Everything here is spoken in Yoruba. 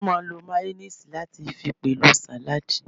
Wọ́n máà ń lo máyóníìsì láti fi pèlò sàládì